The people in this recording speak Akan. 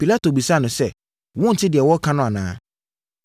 Pilato bisaa no sɛ, “Wonte deɛ wɔreka no anaa?”